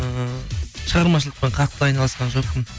ы шығармашылықпен қатты айналысқан жоқпын